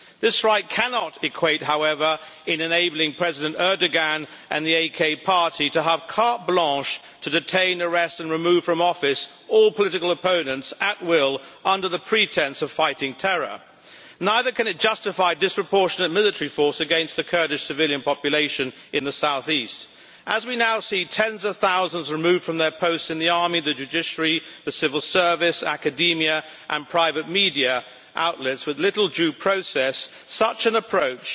This right cannot equate, however, with enabling President Erdogan and the AK party to have carte blanche to detain, arrest and remove from office all political opponents at will, under the pretence of fighting terror. Neither can it justify disproportionate military force against the Kurdish civilian population in the south east. As we now see tens of thousands removed from their posts in the army, the judiciary, the civil service, academia and private media outlets, with little due process, such an approach